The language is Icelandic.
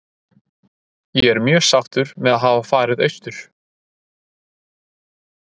Ég er mjög sáttur með að hafa farið austur.